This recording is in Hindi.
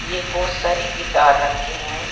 ये बहोत सारी गिटार रखे हैं।